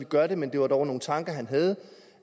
gør det men det var dog nogle tanker han havde